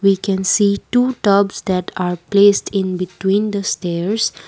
we can see two tops that are placed in between the stairs.